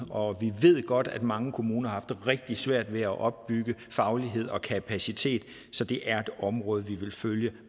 og vi ved godt at mange kommuner har rigtig svært ved at opbygge faglighed og kapacitet så det er et område vi vil følge